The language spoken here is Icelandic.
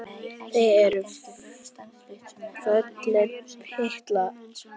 Þið eruð fölir, piltar.